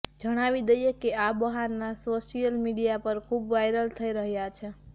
જણાવી દઈએ કે આ બહાના સોશિયલ મીડિયા પર ખુબ વાયરલ થઈ રહ્યા છે